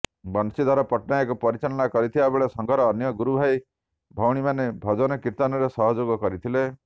ବଂଶୀଧର ପଟ୍ଟନାୟକ ପରିଚାଳନା କରିଥିବାବେଳେ ସଂଘର ଅନ୍ୟ ଗୁରୁଭାଇ ଭଉଣୀମାନେ ଭଜନ କୀର୍ତ୍ତନରେ ସହଯୋଗ କରିଥିଲେ